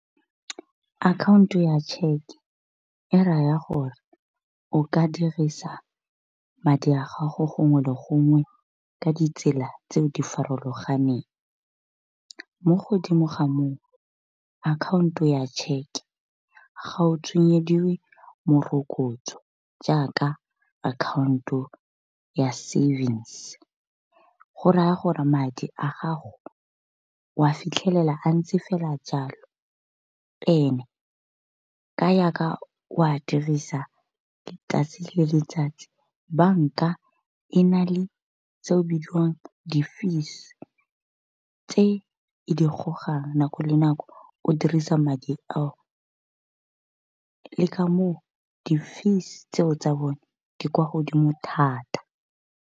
Account ya tšheke e raya gore o ka dirisa, madi a gago gongwe le gongwe ka ditsela tse di farologaneng. Mo godimo ga moo account-o ya tšheke ga o tsenyediwe morokotso, jaaka account ya savings. Go raya gore madi a gago wa fitlhelela a ntse fela jalo, and-e ka ya ka o a dirisa 'tsatsi le letsatsi banka e na le tse o bidiwang di fees. Tse e di go gang nako le nako o dirisa madi ao le ka moo di fees tseo tsa bone di kwa godimo thata.